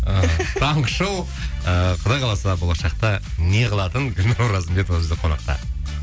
таңғы шоу ыыы құдай қаласа болашақта неғылатын гүлнұр оразымбетова бүгін бізде қонақта